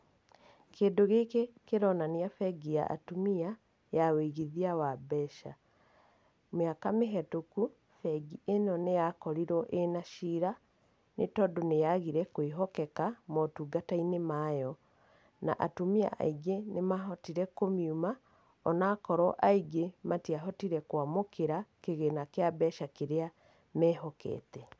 Kĩndũ gĩkĩ kĩronania bengi ya atumia, ya wĩigithia wa mbeca. Mĩaka mĩhĩtũku, bengi ĩno nĩ ya korirwo ĩna cira, nĩ tondũ nĩ yagire kwĩhokeka motungata-inĩ mayo, na atumia aingĩ nĩmahotire kũmiuma, onakorwo aingĩ matiahotire kũamũkĩra kĩgĩna kĩao kĩa mbeca kĩrĩa mehokete.